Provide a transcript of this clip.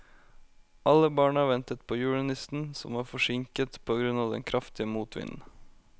Alle barna ventet på julenissen, som var forsinket på grunn av den kraftige motvinden.